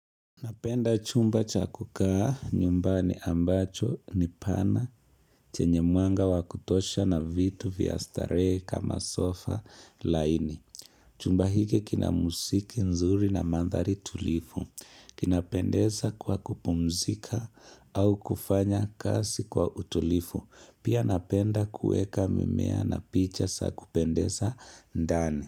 Napenda chumba cha kukaa nyumbani ambacho ni pana chenye mwanga wa kutosha na vitu vya starehe kama sofa laini. Chumba hiki kina muziki nzuri na manthari tulivu. Kinapendeza kwa kupumzika au kufanya kazi kwa utulivu. Pia napenda kuweka mimea na picha za kupendeza ndani.